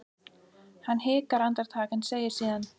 Hann hikar andartak en segir síðan